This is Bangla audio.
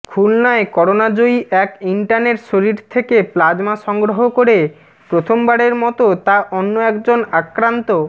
খুলনায় করোনাজয়ী এক ইন্টার্নের শরীর থেকে প্লাজমা সংগ্রহ করে প্রথমবারের মতো তা অন্য একজন আক্রান্ত